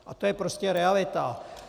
A to je prostě realita.